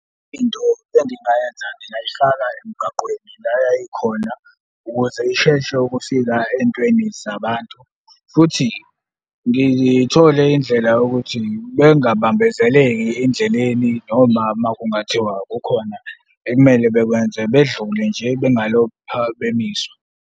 Into engingayenza ngingayifaka emgaqweni la yayikhona ukuze isheshe ukufika entweni zabantu, futhi ngithole indlela yokuthi bengabambezeleki endleleni noma uma kungathiwa kukhona ekumele bekwenze bedlule nje bengalokhu bemiswa.